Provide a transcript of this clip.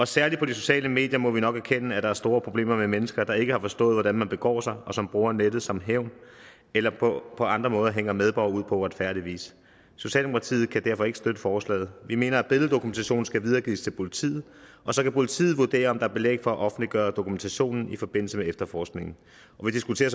særlig på de sociale medier må vi nok erkende at der er store problemer med mennesker der ikke har forstået hvordan man begår sig og som bruger nettet som hævn eller på andre måder hænger medborgere ud på uretfærdig vis socialdemokratiet kan derfor ikke støtte forslaget vi mener at billeddokumentation skal videregives til politiet og så kan politiet vurdere om der er belæg for at offentliggøre dokumentationen i forbindelse med efterforskningen vi diskuterer